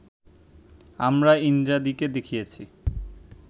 আমরা ইন্দ্রাদিকে দেখিয়াছি